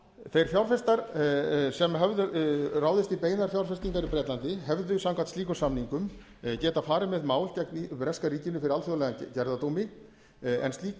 þeir fjárfestir sem höfðu ráðist í beinar fjárfestingar í bretlandi hefðu samkvæmt slíkum samningum getað farið með mál gegn breska ríkinu fyrir alþjóðlegum gerðardómi en slík